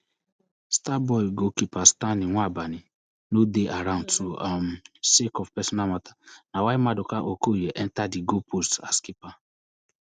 starboy goalkeeper stanley nwabani no dey around too um sake of personal mata na why maduka okoye enta di goalpost as keeper